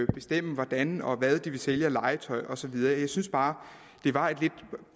bestemme hvordan og hvad de vil sælge af legetøj og så videre jeg synes bare det var et lidt